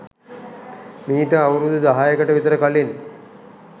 මීට අවුරුදු දහයකට විතර කලින්.